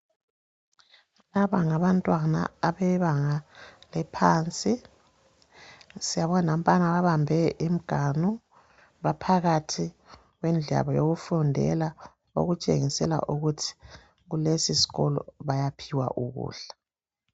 Laba ngabantwana abebanga eliphansi siyababo nampana babambe imiganu baphakathi kwendlu yabo yokufundela okutshengisela ukuthi kulesisikolo bayaphiwa ukudla.